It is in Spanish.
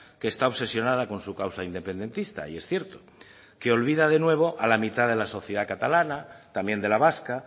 que está obsesionada con su causa independentista y es cierto que olvida de nuevo a la mitad de la sociedad catalana también de la vasca